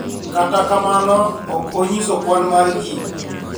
Kata kamano ok onyiso kwan mar ji